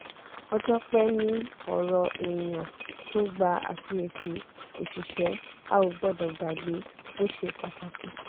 ọjọ́ pẹ́ ní ọ̀rọ̀ èèyàn tó gba àfiyèsí òṣìṣẹ́ a ò gbọ́dọ̀ gbàgbé bó ṣe pàtàkì.